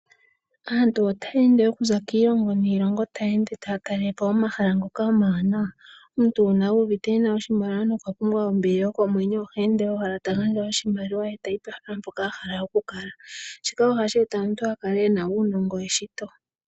Aantu otaye ende okuza kiilongo niilongo taye ende taya talele po omahala ngoka omawanawa, omuntu, uuna uvite ena oshimali nokwapumbwa ombili yokomwenyo oheende owala tagandja oshimaliwa ye tayi pehala mpoka ahala okukala shika ohashi eta omuntu akale ena uunongo weshito.